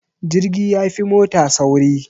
Jirgi yafi mota sauri